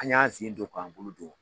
An ɲ'an sin sen don k'an bolo don.